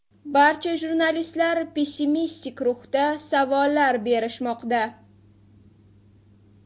Barcha jurnalistlar pessimistik ruhda savollar berishmoqda.